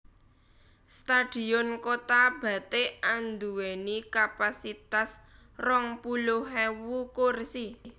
Stadion Kota Batik andhuweni kapasitas rong puluh ewu kursi